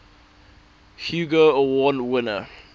hugo award winner